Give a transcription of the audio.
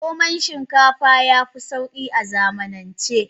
Norman shinkafa yafi Sauki a zamanance.